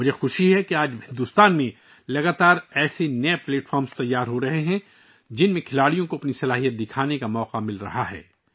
مجھے خوشی ہے کہ آج بھارت میں مسلسل ایسے نئے پلیٹ فارم بنائے جا رہے ہیں، جن میں کھلاڑیوں کو اپنی صلاحیتوں کو ظاہر کرنے کا موقع مل رہا ہے